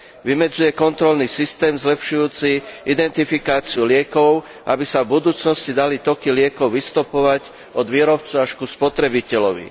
Vymedzuje kontrolný systém zlepšujúci identifikáciu liekov, aby sa v budúcnosti dali toky liekov vystopovať od výrobcu až ku spotrebiteľovi.